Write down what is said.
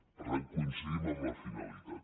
per tant coincidim amb la finalitat